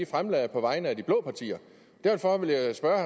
fremsat på vegne af de blå partier og derfor ville jeg spørge